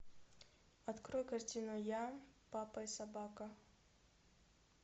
открой картину я папа и собака